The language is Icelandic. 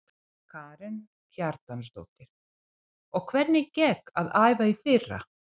Karen Kjartansdóttir: Og hvernig gekk að æfa í fyrra?